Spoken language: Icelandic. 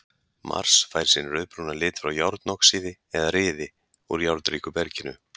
Mars fær sinn rauðbrúna lit frá járnoxíði eða ryði úr járnríku berginu.